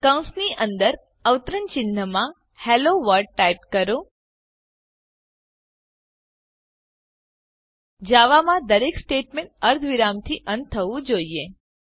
કૌંસની અંદર અવતરણ ચિહ્નમાં હેલોવર્લ્ડ ટાઈપ કરો જાવા માં દરેક સ્ટેટમેંટ અર્ધવિરામથી અંત થવું જોઈએ